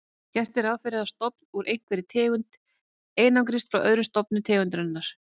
Gert er ráð fyrir að stofn úr einhverri tegund einangrist frá öðrum stofnum tegundarinnar.